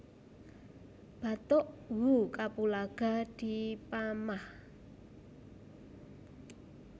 Batuk who kapulaga dipamah